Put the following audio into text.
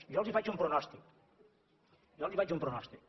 jo els faig un pronòstic jo els faig un pronòstic